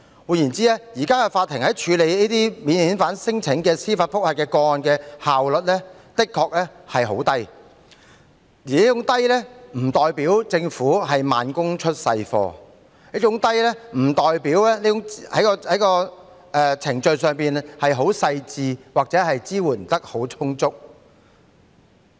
換言之，現時法庭處理這類免遣返聲請司法覆核個案的效率很低，但這並不代表政府慢工出細貨，亦不代表有關的程序工作細緻或支援充足。